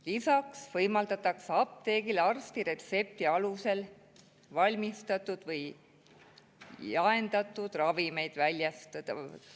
Lisaks võimaldatakse apteegis arsti retsepti alusel valmistatud või jaendatud ravimeid ka teistele apteekidele väljastada.